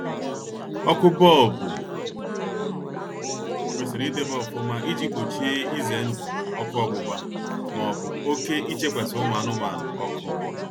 Ọkụ bọlbụ kwesịrị idebe ọfụma iji gbochie ize ndụ ọkụ ọgbụgba maọbụ oke ichekwasi ụmụ anụmanụ ọkụ